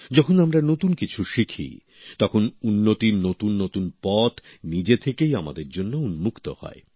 যখন আমরা নতুন কিছু শিখি তখন উন্নতির নতুন নতুন পথ নিজে থেকেই আমাদের জন্য উন্মুক্ত হয়